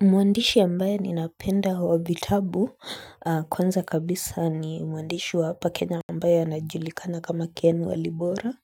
Mwandishi ambae ninapenda wa vitabu kwanza kabisa ni mwandishi wa hapa Kenya ambae anajulikana kama Ken Walibora